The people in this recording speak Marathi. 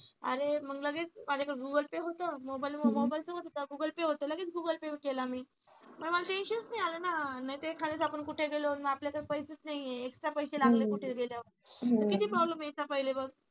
आणि मग लगेच माझ्याकडे google pay होतं मोबाईल सोबत होता लगेच मी google pay केला म्हणून मला tension च नाही आलं ना नाहीतर एखाद्या वेळेस आपण कुठे गेलो आणि आपल्याकडे पैसेच नाहीये extra पैसे लागले कुठे गेल्यावर किती problem यायचा पहिले बघ.